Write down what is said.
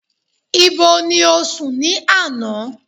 Ibo ti o sùn ní àná?